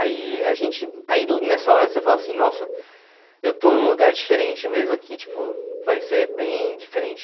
Aí a gente, aí nessa hora você fala assim, nossa, eu estou num lugar diferente mesmo aqui, tipo, vai ser bem diferente.